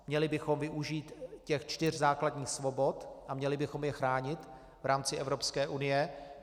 Měli bychom využít těch čtyř základních svobod a měli bychom je chránit v rámci Evropské unie.